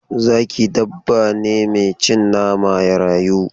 Zaki dabba ne mai cin nama ya rayu.